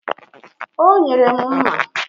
O nyere m mma.